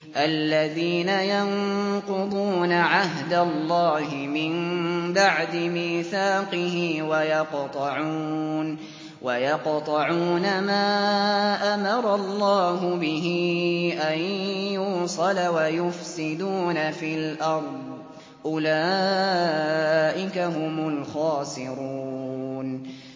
الَّذِينَ يَنقُضُونَ عَهْدَ اللَّهِ مِن بَعْدِ مِيثَاقِهِ وَيَقْطَعُونَ مَا أَمَرَ اللَّهُ بِهِ أَن يُوصَلَ وَيُفْسِدُونَ فِي الْأَرْضِ ۚ أُولَٰئِكَ هُمُ الْخَاسِرُونَ